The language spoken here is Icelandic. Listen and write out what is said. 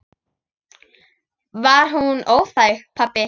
Var hún óþæg, pabbi?